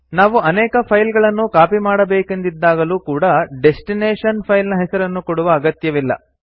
ನಾವು ಅನೇಕ ಫೈಲ್ ಗಳನ್ನು ಕಾಪಿ ಮಾಡಬೇಕೆಂದಿದ್ದಾಗಲೂ ಕೂಡಾ ಡೆಸ್ಟಿನೇಶನ್ ಫೈಲ್ ನ ಹೆಸರನ್ನು ಕೊಡುವ ಅಗತ್ಯವಿಲ್ಲ